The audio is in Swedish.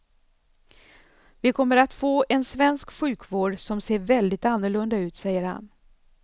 Vi kommer att få en svensk sjukvård som ser väldigt annorlunda ut, säger han.